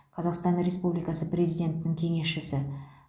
қазақстан республикасы президентінің кеңесшісі